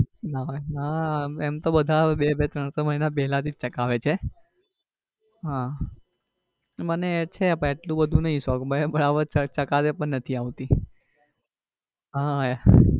ના ભાઈ ના એમ તો બધા બે બે ત્રણ ત્રણ મહિના પેલા થી જ ચગાવે છે આહ મને છે પણ એટલું બધું નઈ શોખ બરાબર ચગાવતા પણ નથી આવતી